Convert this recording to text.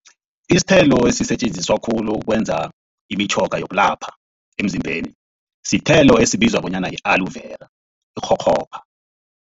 Isithelo esisetjenziswa khulu ukwenza imitjhoga yokulapha emzimbeni, sithelo esibizwa bonyana yi-aloe vera ikghokghopha.